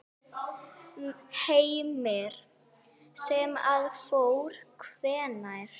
Heimir: Sem að fór hvenær?